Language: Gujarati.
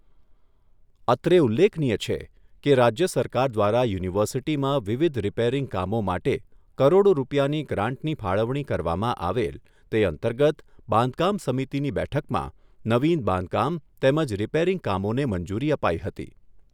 અત્રે ઉલ્લેખનીય છે કે, રાજ્ય સરકાર દ્વારા યુનિવર્સિટીમાં વિવિધ રીપેરીંગ કામો માટે કરોડો રૂપિયાની ગ્રાન્ટની ફાળવણી કરવામાં આવેલ તે અંતર્ગત બાંધકામ સમિતિની બેઠકમાં નવિન બાંધકામ તેમજ રીપેરીંગ કામોને મંજૂરી અપાઈ હતી.